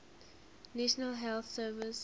national health service